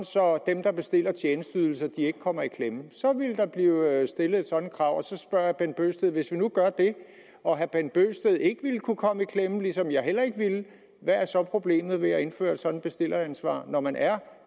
så dem der bestiller tjenesteydelser ikke kommer i klemme så ville der blive stillet et sådant krav så spørger jeg herre bent bøgsted hvis vi gør det og herre bent bøgsted ikke ville kunne komme i klemme ligesom jeg heller ikke ville hvad er så problemet ved at indføre et sådant bestilleransvar når man er